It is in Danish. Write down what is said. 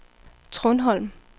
Trundholm